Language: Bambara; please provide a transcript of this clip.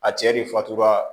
A cɛ de fatura